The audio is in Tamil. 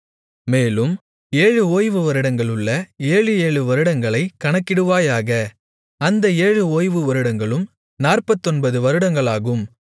மேலும் ஏழு ஓய்வு வருடங்களுள்ள ஏழு ஏழு வருடங்களைக் கணக்கிடுவாயாக அந்த ஏழு ஓய்வு வருடங்களும் நாற்பத்தொன்பது வருடங்களாகும்